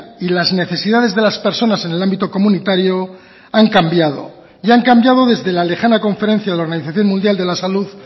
y las necesidades de las personas en el ámbito comunitario han cambiado y han cambiado desde la lejana conferencia de la organización mundial de la salud